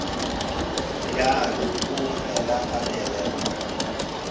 bjalo o fela a elelwa